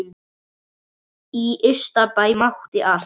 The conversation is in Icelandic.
Í Ystabæ mátti allt.